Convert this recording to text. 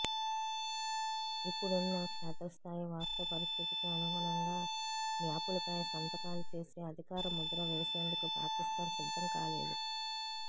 ఇప్పుడున్న క్షేత్రస్థాయి వాస్తవ పరిస్థితికి అనుగుణంగా మ్యాపులపై సంతకాలు చేసి అధికార ముద్ర వేసేందుకు పాకిస్తాన్ సిద్ధం కాలేదు